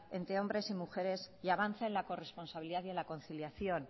entre hombres y mujeres y avanza en la corresponsabilidad y en la conciliación